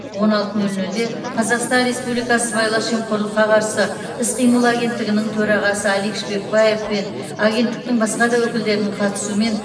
он алты нөл нөлде қазақстан республикасы сыбайлас жемқорлыққа қарсы іс қимыл агенттігінің төрағасы алик шпекбаев пен агенттіктің басқа да өкілдерінің қатысуымен